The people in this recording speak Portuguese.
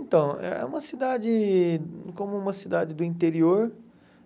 Então, é uma cidade como uma cidade do interior